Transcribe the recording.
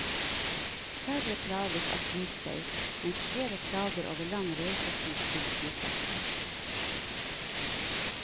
Færre plages av flystøy, mens flere klager over lang reisetid til flyplassen.